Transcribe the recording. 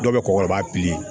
Dɔw bɛ kɔgɔ b'a